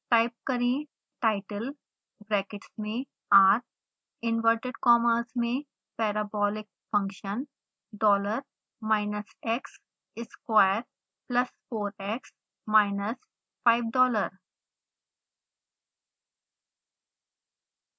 type करें title brackets में r inverted commas में parabolic function dollar minus x square plus 4x minus 5 dollar